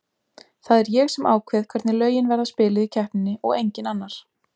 Það er ég sem ákveð hvernig lögin verða spiluð í keppninni og enginn annar.